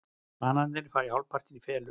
Bananarnir fara hálfpartinn í felur.